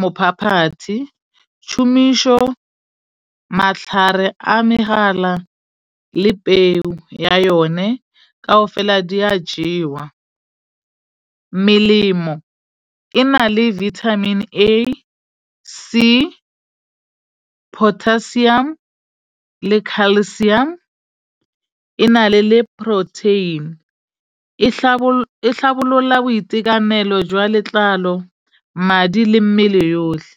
mophaphathi tšumisho matlhare a megala le peo ya yone. Kaofela di a jewa melemo e na le Vitamin A, C, potassium le calcium. E na le le protein e tlhabolola boitekanelo jwa letlalo, madi le mmele yotlhe.